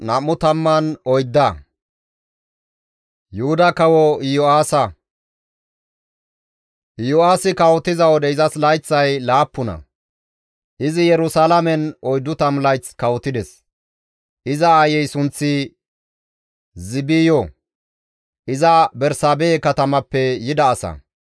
Iyo7aasi kawotiza wode izas layththay laappuna; izi Yerusalaamen 40 layth kawotides; iza aayey sunththi Ziibiyo; iza Bersaabehe katamappe yida asa.